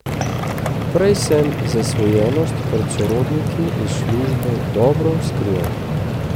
Prej sem zasvojenost pred sorodniki in službo dobro skrival.